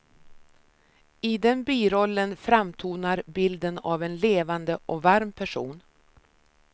I den birollen framtonar bilden av en levande och varm person.